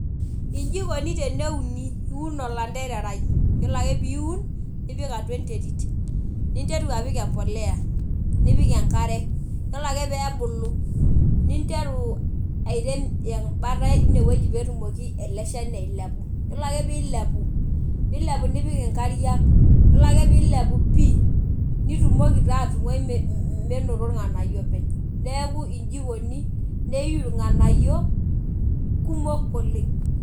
Iji ikoni teneuni. Iun olantererai. Yiolo ake piun, nipik atua enterit. Ninteru apik empolea. Nipik enkare. Yiolo ake pebulu, ninteru airem embata inewueji petumoki ele shani ailepu. Yiolo ake pilepu, nilepu nipik inkariak. Yiolo ake pilepu pi, nitumoki taa atung'ai menoto irng'anayio openy. Neeku iji ikoni. Neyu irng'anayio, kumok oleng'.